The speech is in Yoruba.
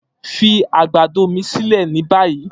Fi agbado mi silẹ ni bayi!